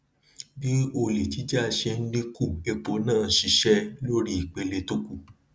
bí olè jíjà ṣe ń dín kù epo náà lè ṣíṣé lórípele tó kù